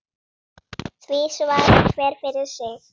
Því svarar hver fyrir sig.